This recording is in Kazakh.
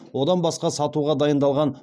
одан басқа сатуға дайындалған